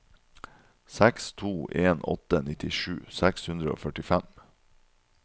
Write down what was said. seks to en åtte nittisju seks hundre og førtifem